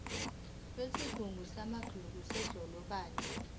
kwesigungu samagugu sedolobha